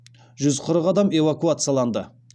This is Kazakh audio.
жүз қырық адам эвакуацияланды